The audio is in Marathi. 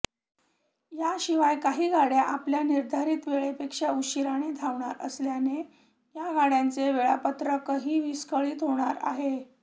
याशिवाय काही गाड्या आपल्या निर्धारित वेळेपेक्षा उशिराने धावणार असल्याने या गाड्यांचे वेळापत्रकही विस्कळीत होणार आहे